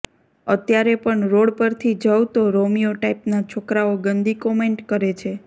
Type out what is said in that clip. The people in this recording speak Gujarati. અત્યારે પણ રોડ પરથી જઉં તો રોમિયો ટાઈપના છોકરાઓ ગંદી કોમેન્ટ કરે છે